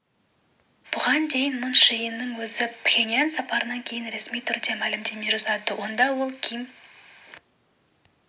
бұған дейін мун чже иннің өзі пхеньян сапарынан кейін ресми түрде мәлімдеме жасады онда ол ким